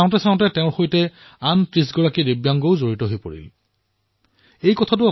চাওতে চাওতে তেওঁৰ সৈতে ৩০ গৰাকী দিব্যাংগ সহযোগী হবলৈ আগবাঢ়ি আহিল